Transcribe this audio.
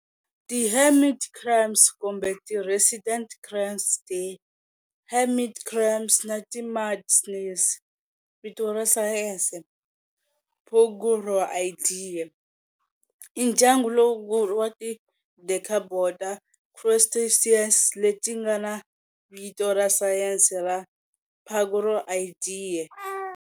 Ti hermit crabs, kumbe ti resident crabs, ti hermit crabs, na ti mud snails, vito ra sayense-"Paguroidea", i ndyangu lowukulu wa ti decapoda crustaceans letingana vito ra sayense ra Paguroidea.